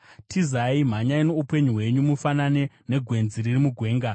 Tizai! Mhanyai muponese upenyu hwenyu; mufanane negwenzi riri mugwenga.